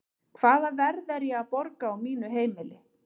Hvaða verð er ég að borga á mínu heimili?